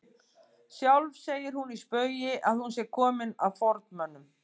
Sjálf segir hún í spaugi að hún sé komin af formönnum